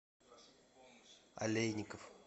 алейников